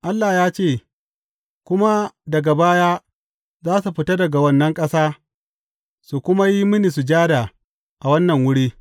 Allah ya ce, Kuma daga baya za su fita daga wannan ƙasa su kuma yi mini sujada a wannan wuri.’